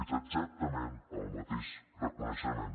és exactament el mateix reconeixement